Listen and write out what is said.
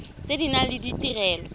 tse di nang le ditirelo